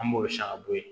An b'o sanga bɔ yen